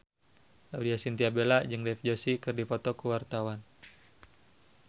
Laudya Chintya Bella jeung Dev Joshi keur dipoto ku wartawan